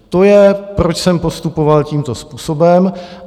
To je, proč jsem postupoval tímto způsobem.